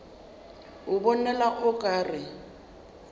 a bonala o ka re